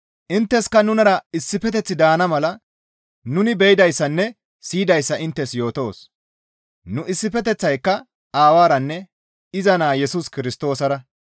Intteska nunara issifeteththi daana mala nuni be7idayssanne siyidayssa inttes yootoos; nu issifeteththayka Aawaranne iza Naa Yesus Kirstoosara.